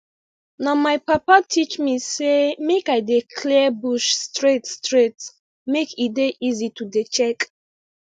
na my papa teach me say make i dey clear bush straight straight make e dey easy to dey check